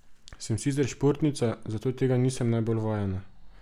Sem sicer športnica, zato tega nisem najbolj vajena.